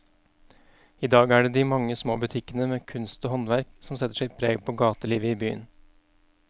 I dag er det de mange små butikkene med kunst og håndverk som setter sitt preg på gatelivet i byen.